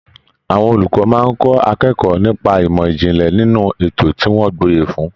Àwọn olùkọ máa n kọ akẹ́kọ̀ọ́ nipa imọ ijinlẹ nínú ètò tí wọn gboye fún.